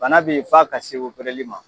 Bana be yen f'a ka se ma.